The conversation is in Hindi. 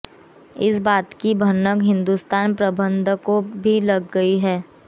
इस बात की भनक हिंदुस्तान प्रबंधन को भी लग गई है